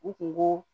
U kun b'o